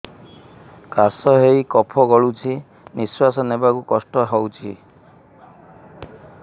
କାଶ ହେଇ କଫ ଗଳୁଛି ନିଶ୍ୱାସ ନେବାକୁ କଷ୍ଟ ହଉଛି